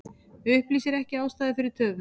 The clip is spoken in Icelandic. Upplýsir ekki ástæður fyrir töfum